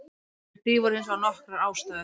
Fyrir því voru hins vegar nokkrar ástæður.